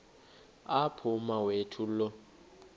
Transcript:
apho umawethu lo